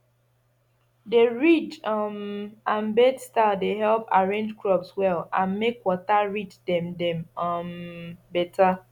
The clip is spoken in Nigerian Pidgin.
the ridge um and bed style dey help arrange crops well and make water reach dem dem um better